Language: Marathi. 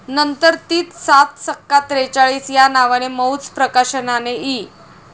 नंतर तीच 'सात सक्का त्रेचाळीस ' या नावाने मौज प्रकाशनाने इ.